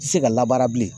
Tɛ se ka labaara bilen